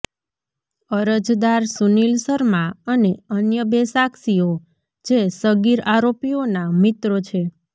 અરજદાર સુનીલ શર્મા અને અન્ય બે સાક્ષીઓ જે સગીર આરોપીઓના મિત્રો છે